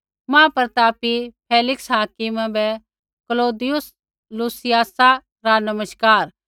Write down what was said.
महाप्रतापी फेलिक्स हाकिमा बै क्लौदियुस लूसियासा रा नमस्कार